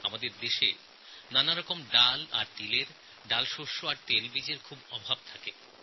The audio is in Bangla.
আমাদের দেশে ডালশস্য এবং তৈলবীজের খুব ঘাটতি আছে